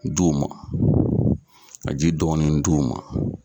Du ma, ka ji dɔɔni di' u ma.